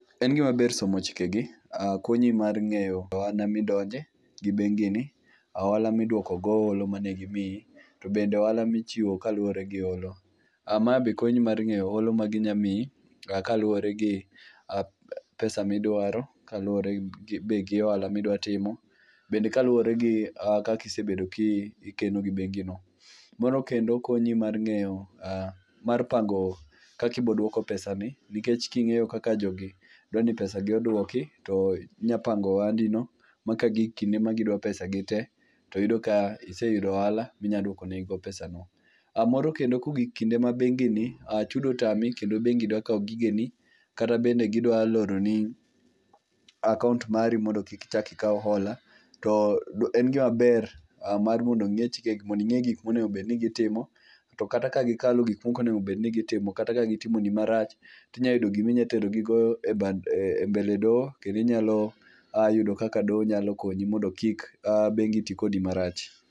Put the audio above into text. En gimaber somo chikegi, konyi mar ng'eyo ohala midonje gi bengine, ohala miduoko go hola mane gimiyi to bende ohala michiwo kaluwore gi holo. Ma be konyi mar ng'eyo holo ma ginyalo miyi kaluwore gi pesa ma idwaro kaluwore be gi ohala midwa timo be kaluwore gi kaka be isebedo kikeno gi bengino. Moro kendo konyi mar ng'eyo pango kaka ibiro duoko pesani nikech king'eyo kaka jogi dwa ni pesa gi oduoki to maka gik kinde ma gidwa pesagi te to yudo ka ise yudo ohala ma inyalo duoko negigo pesago. Moro kendo kogik kinde ma bengini chudo otami kendo bengi dwa kawo gigeni kata bende gidwa loroni akaont mari mondo kik ichak ikaw hola, to en gima ber mar mondo ing'e gik monego bed ni gitimo to kata ka gikalo gik monego obed ni gitimo kata ka gitimoni marach to inyalo yudo gima itero gigo e bad e mbele doho kendo inyalo yudo kaka doho nyalo konyi mondo kik bengi ti kodi marach.